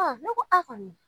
ne ko a kɔni.